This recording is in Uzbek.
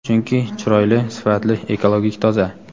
Chunki chiroyli, sifatli, ekologik toza.